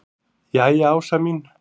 Jæja Ása mín.